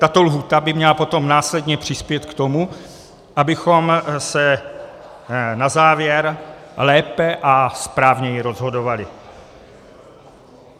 Tato lhůta by měla potom následně přispět k tomu, abychom se na závěr lépe a správněji rozhodovali.